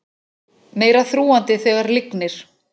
Meira þrúgandi þegar lygnir